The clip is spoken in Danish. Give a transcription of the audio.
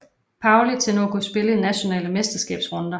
Pauli til nu at kunne spille i de nationale mesterskabsrunder